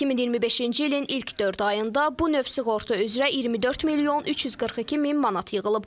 2025-ci ilin ilk dörd ayında bu növ sığorta üzrə 24 milyon 342 min manat yığılıb.